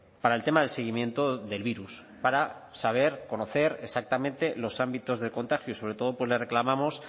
para el tema del seguimiento del virus para saber conocer exactamente los ámbitos de contagio y sobre todo pues le reclamamos